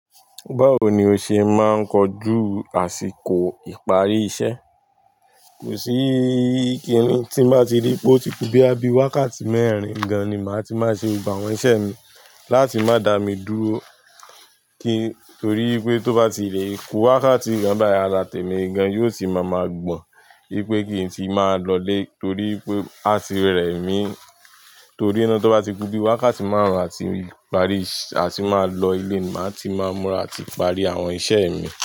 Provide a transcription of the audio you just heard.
Báwo ni o ṣe máa ń kojú àsìkò ìparí iṣẹ́? Kò sí kini, tí bá ti rí pé ó ti ku bíi wákàtí mẹ́rin gan, ni màá ti máa ṣe gbogbo àwọn iṣẹ́ mi láti má dà mí dúró. Kí, torí pé tó bá ti lè kú wákàtí kan bayii, ará tèmi gan yóò sì má ma gbọ̀n. Wípé kí n tíì máa lọ lé, torí pé á ti rẹ̀ mí. Torí naá tó bá ti kú bíi wákàtí márùn àti ìparí, àti máa lọ ilé, màá ti máa múra àti parí àwọn iṣẹ́ mi.